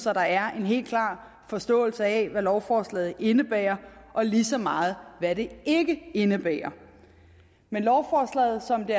at der er en helt klar forståelse af hvad lovforslaget indebærer og lige så meget af hvad det ikke indebærer men lovforslaget sådan